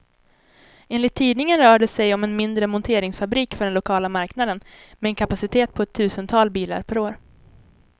Enligt tidningen rör det sig om en mindre monteringsfabrik för den lokala marknaden, med en kapacitet på ett tusental bilar per år.